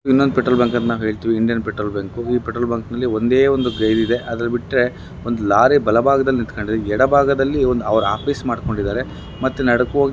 ಇನ್ನೊಂದ್ petrol bunk ಅಂತ ನಾವ್ ಹೇಳ್ಥಿವಿ ಇಂಡಿಯನ್ ಪೆಟ್ರೋಲ್ ಬಂಕ್ . ಈ ಪೆಟ್ರೋಲ್ ಬಂಕ್ನಲ್ಲಿ ಒಂದೇ ಒಂದು ಗೈರ್ ಇದೆ ಅದಲ್ ಬಿಟ್ರೆ ಒಂದ್ ಲಾರಿ ಬಲಭಾಗದಲ್ಲಿ ನಿಂತ್ಕಂಡಿದೆ ಎಡಭಾಗದಲ್ಲಿ ಅವ್ರ್ ಆಫೀಸ್ ಮಾಡ್ಕೊಂಡಿದಾರೆ. ಮತ್ತ್ ನಡ್ಕಓಗಿ--